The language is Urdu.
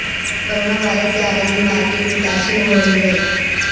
کرونا وائرس سے عالمی مارکیٹ متاثر ہو رہی ہے